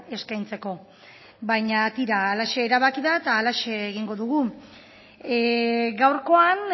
eskaintzeko baina tira halaxe erabaki da eta halaxe egingo dugu gaurkoan